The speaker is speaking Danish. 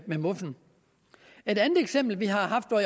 ved muffen et anden eksempel vi har haft og